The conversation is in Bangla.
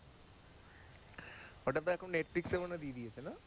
ওটা তো এখন নেটফ্লিক্সে মনে হয় দিয়ে দিয়েছে না,